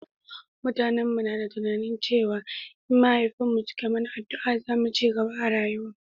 mutanen mu na da tunani cewa in mahaifin mu suka mana addua za mu cigaba a rayuwa